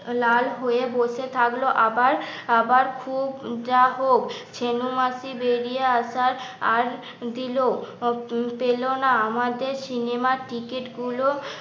লাল হয়ে বসে থাকলো আবার আবার খুব যা হোক ছেনু মাসি বেরিয়ে আসার আর দিল, পেল না আমাদের সিনেমার টিকিট গুলো